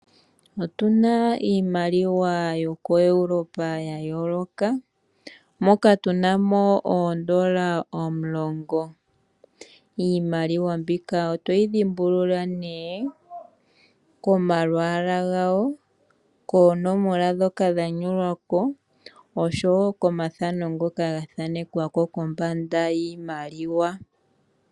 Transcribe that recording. Otuna iimaliwa yoko Europa ya yooloka, moka tuna mo oondola omulongo. Iimaliwa mbika otoyi dhimbulula nee komalwaala gawo, koonomola dhoka dha nyolwa ko oshowo komathano ngoka ga thaanekwa ko kombanda yiimaliwa.